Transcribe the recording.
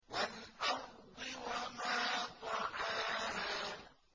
وَالْأَرْضِ وَمَا طَحَاهَا